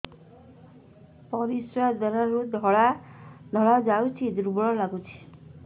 ପରିଶ୍ରା ଦ୍ୱାର ରୁ ଧଳା ଧଳା ଯାଉଚି ଦୁର୍ବଳ ଲାଗୁଚି